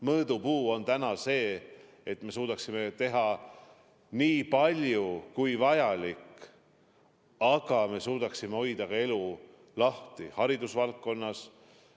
Mõõdupuu on täna see, et me suudaksime teha nii palju kui vajalik, et me suudaksime hoida elu lahti näiteks ka hariduse valdkonnas.